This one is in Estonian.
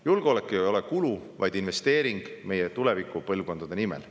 Julgeolek ei ole mitte kulu, vaid investeering meie tuleviku põlvkondade nimel.